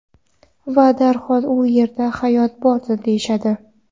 Va darhol u yerda hayot bordir, deyishadi .